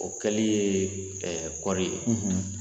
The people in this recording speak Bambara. O kɛli ye ɛɛ kɔɔri ye